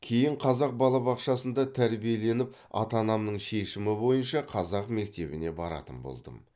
кейін қазақ балабақшасында тәрбиеленіп ата анамның шешімі бойынша қазақ мектебіне баратын болдым